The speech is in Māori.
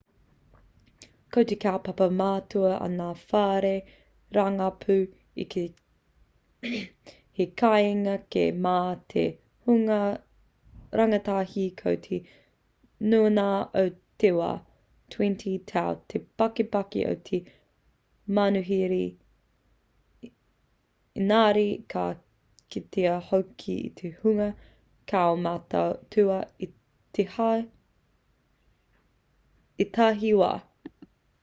ko te kaupapa matua a ngā whare rangapū he kāinga kē mā te hunga rangatahi ko te nuingā o te wā 20 tau te pakeke o te manuhiri engari ka kitea hoki te hunga kaumātua i ētahi wā